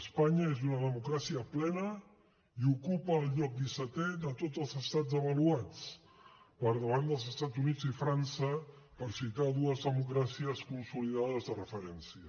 espanya és una democràcia plena i ocupa el lloc dissetè de tots els estats avaluats per davant dels estats units i frança per citar dues democràcies consolidades de referència